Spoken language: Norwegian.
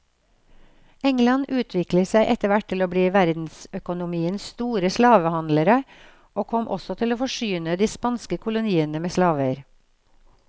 England utviklet seg etterhvert til å bli verdensøkonomiens store slavehandlere, og kom også til å forsyne de spanske koloniene med slaver.